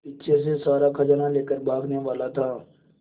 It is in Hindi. पीछे से सारा खजाना लेकर भागने वाला था